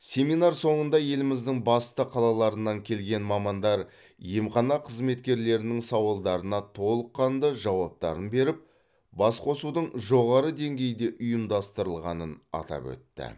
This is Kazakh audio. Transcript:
семинар соңында еліміздің басты қалаларынан келген мамандар емхана қызметкерлерінің сауалдарына толыққанды жауаптарын беріп басқосудың жоғары деңгейде ұйымдастырылғанын атап өтті